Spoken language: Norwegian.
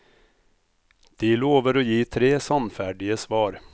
De lover å gi tre sannferdige svar.